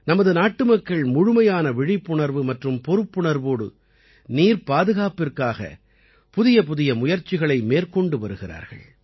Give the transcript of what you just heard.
நமது நாட்டுமக்கள் முழுமையான விழிப்புணர்வு மற்றும் பொறுப்புணர்வோடு நீர்ப்பாதுகாப்பிற்காக புதியபுதிய முயற்சிகளை மேற்கொண்டு வருகிறார்கள்